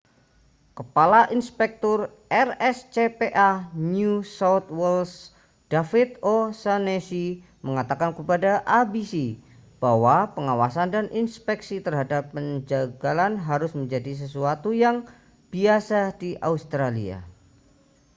kepala inspektur rscpa new south wales david o'shannessy mengatakan kepada abc bahwa pengawasan dan inspeksi terhadap penjagalan harus menjadi sesuatu yang biasa di australia